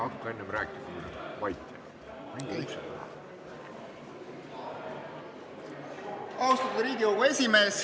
Austatud Riigikogu esimees!